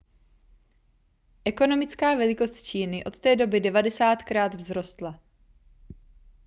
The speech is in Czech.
ekonomická velikost číny od té doby 90krát vzrostla